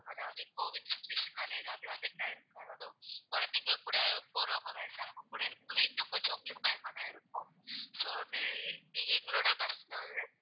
அதாவது covid situation னால எதாவது affect ஆயிடும் குழந்தைங்க கூட போறவங்க வயசானவங்க கூட இருக்கும்போது இன்னும் கொஞ்சம் உங்களுக்கு பயமாதான் இருக்கும் so வந்து நீங்க எங்களோட bus ல வரது